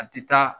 A ti taa